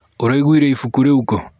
ũragũrire ibuku rúu kú?